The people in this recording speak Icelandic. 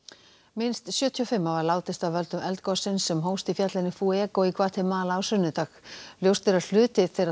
minnst sjötíu og fimm hafa látist af völdum eldgossins sem hófst í fjallinu í Gvatemala á sunnudag ljóst er að hluti þeirra